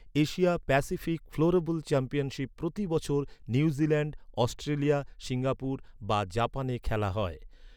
Asia Pacific floorball championship প্রতি বছর New Zealand, Australia, Singapore বা জাপানে খেলা হয়।